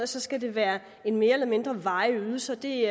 så skal være en mere eller mindre varig ydelse og det